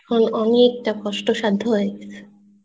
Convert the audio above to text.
অনেক টা কস্ট সাধ্য হয়ে গেছে